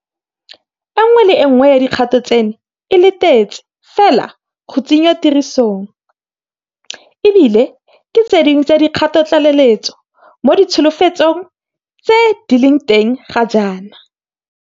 E nngwe le e nngwe ya dikgato tseno e letetse fela go tsenngwa tirisong, e bile ke tse dingwe tsa dikgatotlaleletso mo ditsholofetsong tse di leng teng ga jaana.